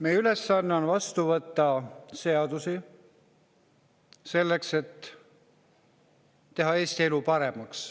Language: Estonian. Meie ülesanne on vastu võtta seadusi selleks, et teha Eesti elu paremaks.